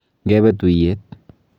Ngebe tuiyet